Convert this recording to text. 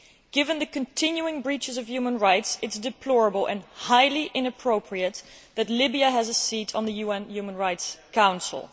Given the continuing breaches of human rights, it is deplorable and highly inappropriate that Libya has a seat on the UN Human Rights Council.